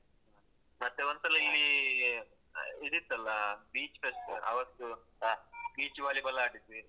ಮತ್ತೆ ಒಂದ್ಸಲ ಇಲ್ಲೀ ಆ ಇದ್ ಇತ್ತಲ್ಲಾ beach fest ಆವತ್ತು beach volleyball ಅಡಿದ್ವಿ.